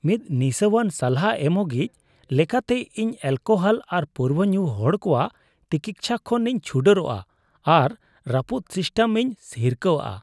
ᱢᱤᱫ ᱱᱤᱥᱟᱹᱣᱟᱱ ᱥᱟᱞᱦᱟ ᱮᱢᱚᱜᱤᱡ ᱞᱮᱠᱟᱛᱮ, ᱤᱧ ᱮᱹᱞᱠᱳᱦᱚᱞ ᱟᱨ ᱯᱟᱹᱣᱨᱟᱹ ᱧᱩ ᱦᱚᱲ ᱠᱚᱣᱟᱜ ᱛᱤᱠᱤᱪᱪᱷᱟ ᱠᱷᱚᱱ ᱤᱧ ᱪᱷᱩᱰᱟᱹᱨᱚᱜ ᱟᱨ ᱨᱟᱹᱯᱩᱫ ᱥᱤᱥᱴᱮᱢ ᱤᱧ ᱦᱤᱨᱠᱷᱟᱹᱣᱟᱜᱼᱟ ᱾